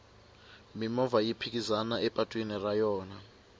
mimovha yi phikizana epatwini ra yona